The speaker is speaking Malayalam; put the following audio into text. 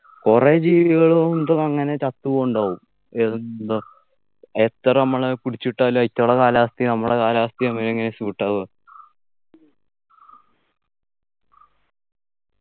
കുറെ ജീവികളും മറ്റുഒക്കെ അങ്ങനെ ചത്തു പോന്നുണ്ടാവും എന്താ എത്ര നമ്മൾ പിടിച്ചിട്ടാലും അയ്റ്റുള കാലാവസ്ഥയും നമ്മളെ കാലാവസ്ഥയും എങ്ങനെയാ suit ആവ